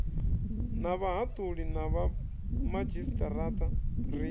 na vhahaṱuli na vhomadzhisiṱiraṱa ri